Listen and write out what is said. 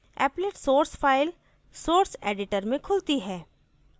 applet source file source editor में खुलती है